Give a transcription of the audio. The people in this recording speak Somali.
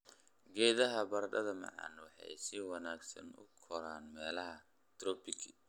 Geedaha baradhada macaan waxay si wanaagsan u koraan meelaha tropiki.